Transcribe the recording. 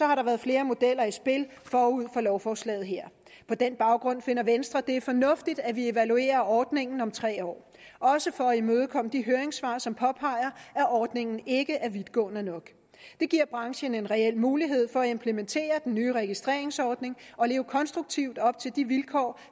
har der været flere modeller i spil forud for lovforslaget her på den baggrund finder venstre det fornuftigt at vi evaluerer ordningen om tre år også for at imødekomme de høringssvar som påpeger at ordningen ikke er vidtgående nok det giver branchen en reel mulighed for at implementere den nye registreringsordning og leve konstruktivt op til de vilkår